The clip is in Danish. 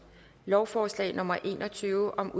lovforslag nummer l en og tyve